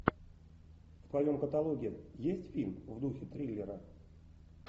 в твоем каталоге есть фильм в духе триллера